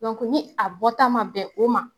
ni a bɔta ma bɛn o ma